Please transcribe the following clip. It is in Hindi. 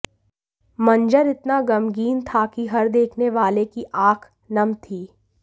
मंजर इतना गमगीन था कि हर देखने वाले की आंख नम थी